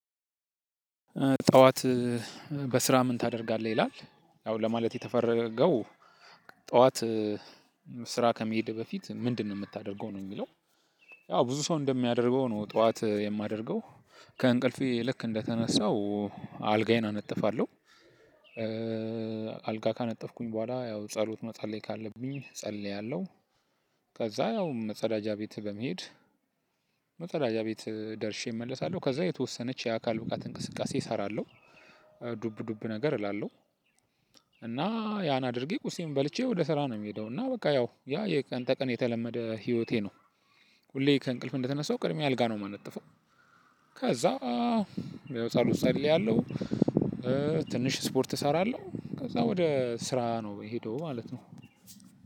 ጠዋት በስራ ምን ታደርጋለህ ይላል ያው ለማለት የተፈለገው ጠዋት ስራ ከመሄድ በፊት ምንድነው የምታደርገው ነው? የሚለው ያው ብዙ ሰው እንደሚያደርገው ነው ጠዋት የማደርገው ከእንቅልፌ ልክ እንደ ተነሳው አልጋዬን አነጥፋለሁ። አልጋ ካነጠፍኩኝ በኋላ ያው ጸሎት መጸለይ ካለብኝ እጸልያለሁ። ከዛ ያው መጸዳጃ ቤት በመሄድ። መጸዳጃ ቤት ደርሼ እመለሳለሁ ከዛ የተወሰነች የአካል እቃት እንቅስቃሴ እሰራለሁ። ዱብ ዱብ ነገር እላለሁ። እና ያን አድርጌ ቁርሴን በልቼ ወደ ስራ ነው የምሄደው እና በቃ ያው ያ የቀን ተቀን የተለመደ ህይወቴ ነው። ሁሌ ከእንቅልፍ እንደ ተነሳው ቅድሚያ አልጋ ነው የማነጥፈው። ከዛ ያው ጸሎት እጸልያለሁ። ትንሽ ስፖርት እሰራለሁ ከዛ ወደ ስራ ነው የምሄደው ማለት ነው።